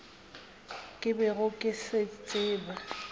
ke bego ke se tseba